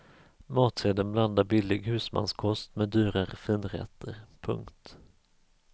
Matsedeln blandar billig husmanskost med dyrare finrätter. punkt